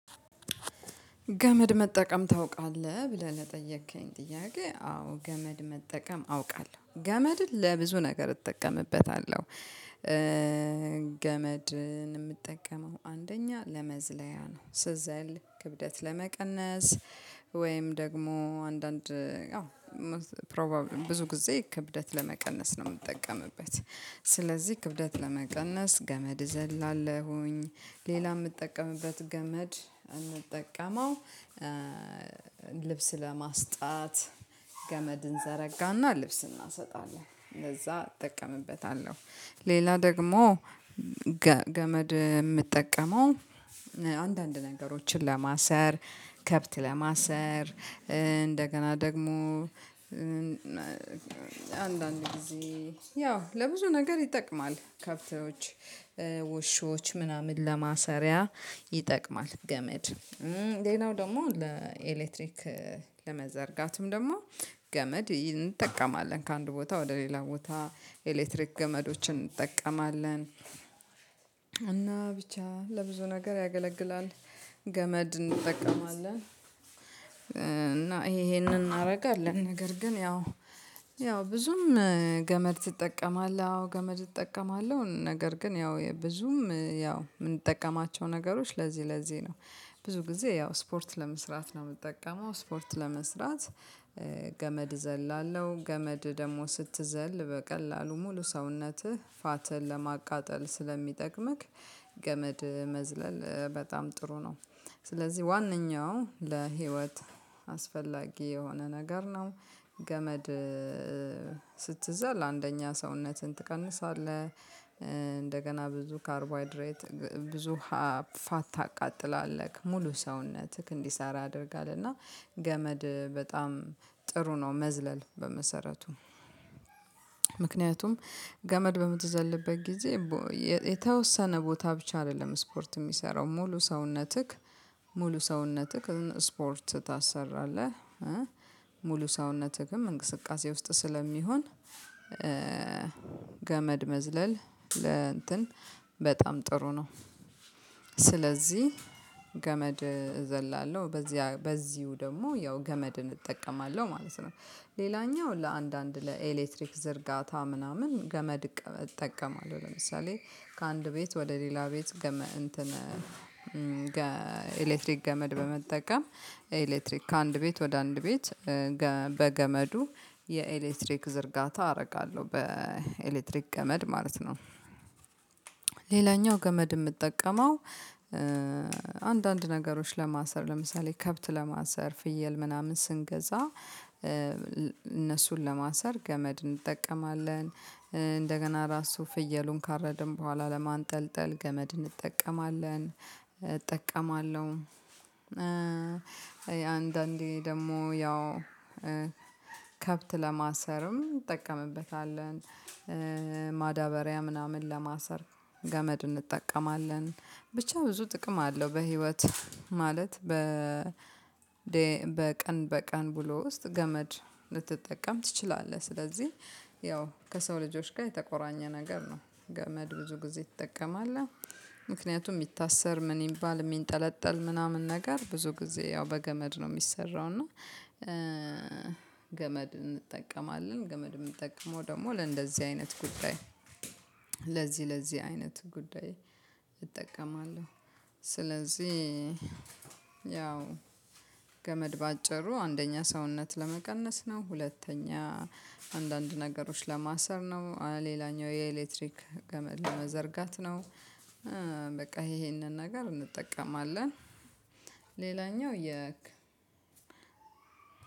ገመድ መጠቀም ታውቃለህ ብለህ ለጠየከኝ ጥያቄ አዎ ገመድ መጠቀም አውቃለሁ ገመድን ለብዙ ነገር እጠቀምበታለሁ። ገመድን የምጠቀመው አንደኛ ለመዝለያ ነው ስዘል ክብደት ለመቀነስ ወይም ደግሞ አንዳንድ ብዙ ጊዜ ክብደት ለመቀነስ ነው የምጠቀምበት። ስለዚህ ክብደት ለመቀነስ ገመድ ዘላለሁኝ ሌላ የምጠቀምበት ገመድ እምጠቀመው ልብስ ለማስጣት ገመድን እንዘረጋና ልብስ እናሰጣለን ለዛ እጠቀምበታለሁ። ሌላ ደግሞ ገመድ የምጠቀመው አንዳንድ ነገሮችን ለማሰር ከብት ለማሰር እንደገና ደግሞ አንዳንድ ጊዜ ያው ለብዙ ነገር ይጠቅማል ከብቶች ውሾች ምናምን ለማሰሪያ ይጠቅማል። ገመድ ሌላው ደግሞ ለኤሌክትሪክ ለመዘርጋትም ደግሞ ገመድ እንጠቀማለን ከአንድ ቦታ ወደ ሌላ ቦታ ኤሌክትሪክ ገመዶችን እንጠቀማለን። እና ብቻ ለብዙ ነገር ያገለግላል። ገመድ እንጠቀማለን እና ይሄንን እናደርጋለን ነገር ግን ያው ያው ብዙም ገመድ ትጠቀማለህ አዎ ገመድ እጠቀማለሁ ነገር ግን ያው ብዙም ያው የምንጠቀማቸው ነገሮች ለዚህ ለዚህ ነው። ብዙ ጊዜ ያው ስፖርት ለመስራት ነው የምጠቀመው ስፖርት ለመስራት። ገመድ እዘላለሁ ገመድ ደግሞ ስትዘል በቀላሉ ሙሉ ሰውነትህ ፋት ለማቃጠል ስለሚጠቅምክ ገመድ መዝለል በጣም ጥሩ ነው። ስለዚህ ዋንኛው ለህይወት አስፈላጊ የሆነ ነገር ነው። ገመድ ስትዘል አንደኛ ሰውነትን ትቀንሳለህ እንደገና ብዙ ካርቦ ሃይድሬት ብዙ ፋት ታቃጥላለህ ሙሉ ሰውነትህ እንዲሰራ ያደርጋል እና ገመድ በጣም ጥሩ ነው። መዝለል በመሰረቱ ምክንያቱም ገመድ በምትዘልበት ጊዜ የተወሰነ ቦታ ብቻ አይደለም ስፖርት የሚሰራው ሙሉ ሰውነትህ ሙሉ ሰውነትህ ስፖርት ታሰራለህ ሙሉ ሰውነትህም እንቅስቃሴ ውስጥ ስለሚሆን ገመድ መዝለል ለእንትን በጣም ጥሩ ነው። ስለዚህ ገመድ እዘላለሁ በዚህ በዚሁ ደግሞ ያው ገመድን እጠቀማለሁ ማለት ነው። ሌላኛው ለአንዳንድ ለኤሌክትሪክ ዝርጋታ ምናምን ገመድ እጠቀማለሁ ለምሳሌ ከአንድ ቤት ወደ ሌላ ቤት ገመን እንትን ኤሌክትሪክ ገመድ በመጠቀም ኤሌክትሪክ ከአንድ ቤት ወደ አንድ ቤት በገመዱ የኤሌክትሪክ ዝርጋታ አደርጋለሁ በኤሌክትሪክ ገመድ ማለት ነው። ሌላኛው ገመድ የምጠቀመው አንዳንድ ነገሮች ለማሰር ለምሳሌ ከብት ለማሰር ፍየል ምናምን ስንገዛ እነሱን ለማሰር ገመድ እንጠቀማለን። እንደገና ራሱ ፍየሉን ካረድን በኋላ ለማንጠልጠል ገመድ እንጠቀማለን እጠቀማለሁ አንዳንዴ ደግሞ ያው ከብት ለማሰርም እንጠቀምበታለን። ማዳበሪያ ምናምን ለማሰር ገመድ እንጠቀማለን ብቻ ብዙ ጥቅም አለው። በህይወት ማለት በ በቀን በቀን ውሎ ውስጥ ገመድ ልትጠቀም ትችላለህ ስለዚህ ያው ከሰው ልጆች ጋር የተቆራኘ ነገር ነው ገመድ ብዙ ጊዜ ይጠቀማል። ምክንያቱም የሚታሰር ምን ይባል የሚንጠለጠል ምናምን ነገር ብዙ ጊዜ ያው በገመድ ነው የሚሰራው እና። ገመድ እንጠቀማለን ገመድ የምጠቀመው ደግሞ ለእንደዚህ አይነት ጉዳይ ለዚህ ለዚህ አይነት ጉዳይ እጠቀማለሁ ስለዚህ። ያው ገመድ በአጭሩ አንደኛ ሰውነት ለመቀነስ ነው ሁለተኛ አንዳንድ ነገሮች ለማሰር ነው ሌላኛው የኤሌክትሪክ ገመድ ለመዘርጋት ነው። በቃ ይሄንን ነገር እንጠቀማለን። ሌላኛው የ